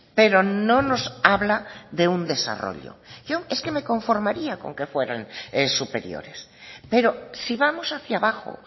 pero no nos habla de un desarrollo yo es que me conformaría con que fueran superiores pero si vamos hacia abajo